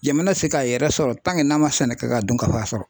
Jamana tɛ se k'a yɛrɛ sɔrɔ n'a man sɛnɛ kɛ ka dunkafa sɔrɔ.